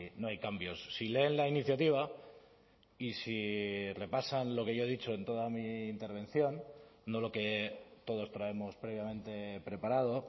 no hay cambios si leen la iniciativa y si repasan lo que yo he dicho en toda mi intervención no lo que todos traemos previamente preparado